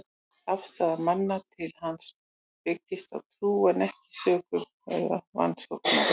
Afstaða manna til hans byggist á trú, en ekki rökum eða rannsóknum.